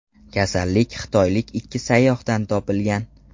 Kasallik xitoylik ikki sayyohdan topilgan.